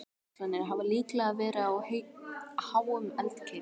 Jöklarnir hafa líklega verið á háum eldkeilum.